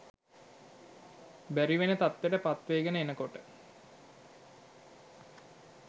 බැරි වෙන තත්වෙට පත්වේගන එනකොට